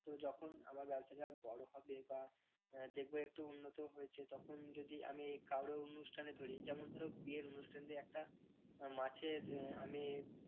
তো যখন আমার ব্যবসাটা বড় হবে বা দেখবো আহ একটু উন্নত হয়েছে তখন যদি আমি কারো অনুষ্ঠানে ধরি যেমন ধরো বিয়ের অনুষ্ঠান যদি একটা মাছের আহ আমি